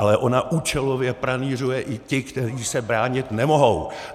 Ale ona účelově pranýřuje i ty, kteří se bránit nemohou!